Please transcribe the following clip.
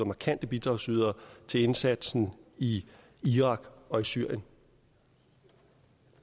markante bidragsydere til indsatsen i irak og syrien